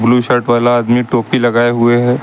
Blue shirt वाला आदमी टोपी लगाए हुए हैं।